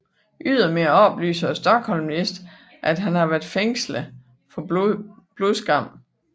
Ydermere oplyser Stockholmlisten at han har været fængslet for blodskam